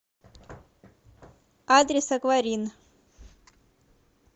адрес акварин